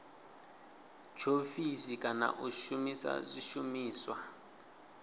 tshiofisi kana u shumisa zwishumiswa